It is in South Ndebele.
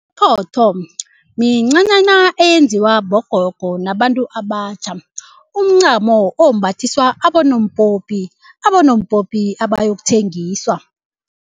Iphotho mincanyana eyenziwa bogogo nabantu abatjha. Umncamo ombathiswa abonompopi, abonompopi abayokuthengiswa.